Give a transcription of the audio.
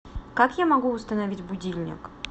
как я могу установить будильник